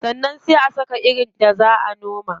Sannan sai a saka irin da zaa a noma.